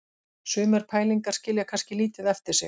Sumar pælingar skilja kannski lítið eftir sig.